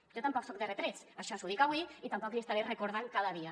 jo tampoc soc de retrets això l’hi dic avui i tampoc l’hi estaré recordant cada dia